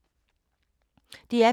DR P3